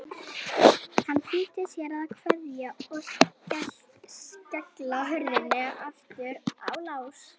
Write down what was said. Hann flýtti sér að kveikja og skella hurðinni aftur í lás.